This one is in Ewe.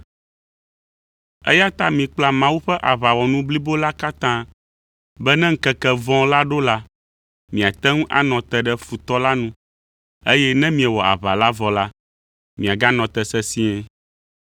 Eya ta mikpla Mawu ƒe aʋawɔnu blibo la katã be ne ŋkeke vɔ̃ la ɖo la, miate ŋu anɔ te ɖe futɔ la nu, eye ne miewɔ aʋa la vɔ la, miaganɔ te sesĩe.